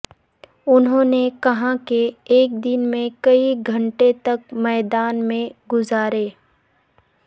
انہوں نے کہا کہ ایک دن میں کئی گھنٹے تک میدان میں گزارے